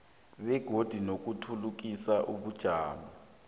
begodu nokuthuthukisa ubujamo